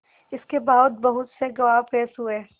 इसके बाद बहुत से गवाह पेश हुए